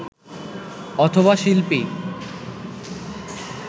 অথবা শিল্পী